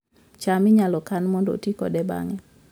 cham inyalo kan mondo oti kode bang'e